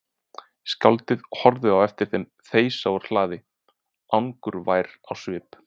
Skáldið horfði á eftir þeim þeysa úr hlaði angurvær á svip.